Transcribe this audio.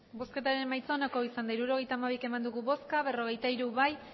emandako botoak hirurogeita hamabi bai berrogeita hiru